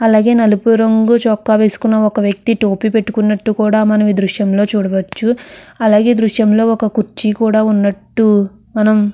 అలాగే నలుపు రంగు చొక్కా వేసుకున్న ఒక వ్యక్తి టోపీ పెట్టుకున్నట్టు కూడా మనం ఈ దృశ్యం లో చూడవచ్చు. అలాగే ఈ దృశ్యం లో ఒక కుర్చీ కూడా ఉన్నట్టు మనం--